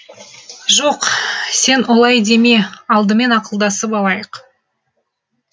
жоқ сен олай деме алдымен ақылдасып алайық